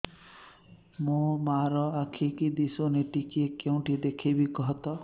ମୋ ମା ର ଆଖି କି ଦିସୁନି ଟିକେ କେଉଁଠି ଦେଖେଇମି କଖତ